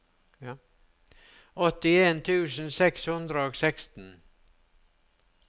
åttien tusen seks hundre og seksten